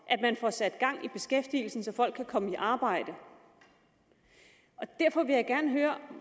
at man får sat gang i beskæftigelsen så folk kan komme i arbejde og derfor vil jeg gerne høre